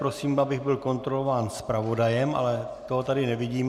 Prosím, abych byl kontrolován zpravodajem - ale toho tady nevidím.